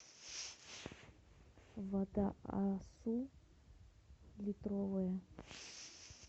вода асу литровая